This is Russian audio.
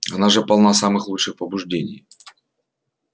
она же полна самых лучших побуждений